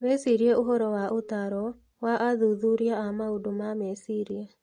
Wĩcirie ũhoro wa ũtaaro wa athuthuria a maũndũ ma meciria